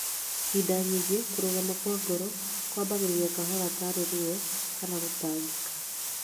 Hĩndĩ nyingĩ kũrũgama kwa ngoro kwambagia kahora tarĩ ruo kana gũtangĩka